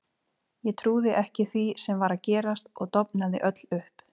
Ég trúði ekki því sem var að gerast og dofnaði öll upp.